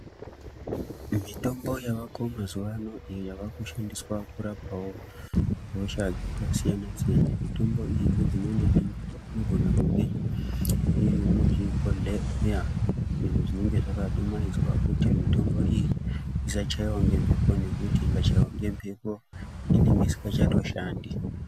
Mitombo yavako mazuvano iyo yavakushandiswa kurapao hosha dzakasiyana siyana, mitombo iyi nedzimweni dzenguva inogona kunge iri muzvibhodhleya izvi zvinenge zvakadumaidzwa kuti mitombo iyi isachaiwa ngemhepo nekuti ikachaiwa ngemhepo inenge isikachatoshandi.